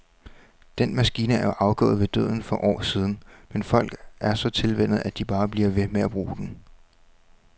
Den maskine er jo afgået ved døden for år siden, men folk er så tilvænnet, at de bare bliver ved med at bruge den.